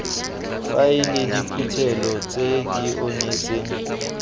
faele diphuthelo tse di onetseng